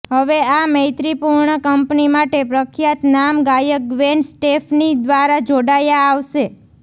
હવે આ મૈત્રીપૂર્ણ કંપની માટે ખ્યાતનામ ગાયક ગ્વેન સ્ટેફની દ્વારા જોડાયા આવશે